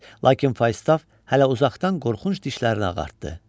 Lakin Falstaf hələ uzaqdan qorxunc dişlərini ağartdı.